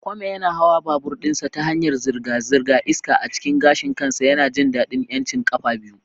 Kwame yana hawa babur ɗinsa ta hanyar zirga-zirga, iska a cikin gashin kansa, yana jin daɗin 'yancin ƙafa biyu.